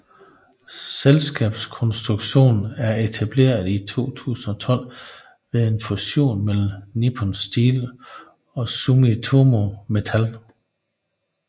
Selskabskonstruktionen er etableret i 2012 ved en fusion mellem Nippon Steel og Sumitomo Metal